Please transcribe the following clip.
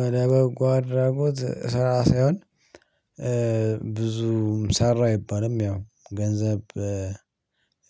ወደ በጎ አድራጎት ሰላሳውን ብዙም ሰራ አይባልም ያው ገንዘብ